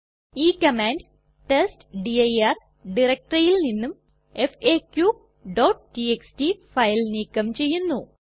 ഈ command test dir ഡയറക്ടറിയിൽ നിന്നും faqടിഎക്സ്ടി ഫയൽ നീക്കം ചെയ്യുന്നു